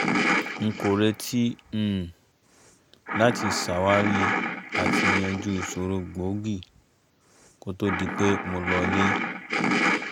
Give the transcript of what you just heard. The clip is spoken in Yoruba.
n kò retí um láti ṣàwárí àti yanjú ìṣòro gbòógì kó to di pé mo lọ ilé